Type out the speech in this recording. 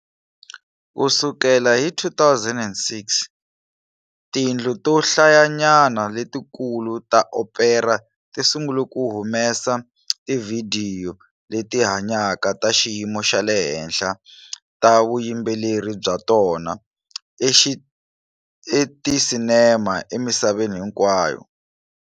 Ku sukela hi 2006, tindlu to hlayanyana letikulu ta opera ti sungule ku humesa tivhidiyo leti hanyaka ta xiyimo xa le henhla ta vuyimbeleri bya tona eticinema emisaveni hinkwayo.